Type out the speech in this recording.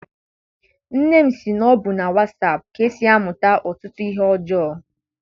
Nne m sị na ọ bụ na wasaapụ ka e si amụta ọtụtụ ihe ọjọọ.